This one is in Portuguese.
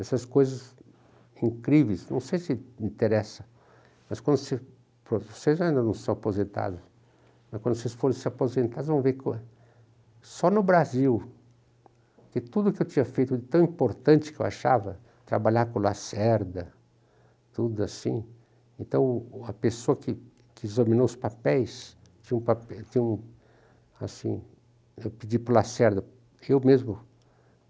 Essas coisas incríveis, não sei se interessa, mas quando vocês... Vocês ainda não estão aposentados, mas quando vocês forem se aposentar, vão ver que só no Brasil, que tudo que eu tinha feito de tão importante que eu achava, trabalhar com lacerda, tudo assim, então a pessoa que que examinou os papéis, tinha um papel, tinha um assim, eu pedi para o lacerda, eu mesmo